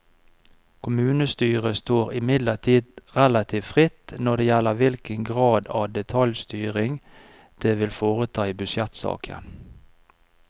Kommunestyret står imidlertid relativt fritt når det gjelder hvilken grad av detaljstyring det vil foreta i budsjettsaken.